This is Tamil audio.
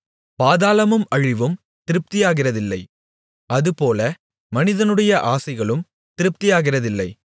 பாதாளமும் அழிவும் திருப்தியாகிறதில்லை அதுபோல மனிதனுடைய ஆசைகளும் திருப்தியாகிறதில்லை